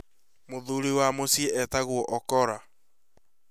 mũthũũrĩ wa mũciĩ etagwo Ocholla